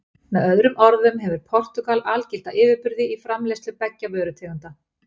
Með öðrum orðum hefur Portúgal algilda yfirburði í framleiðslu beggja vörutegunda.